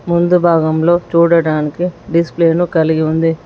ముందు భాగంలో చూడడానికి డిస్ప్లేను కలిగి ఉంది.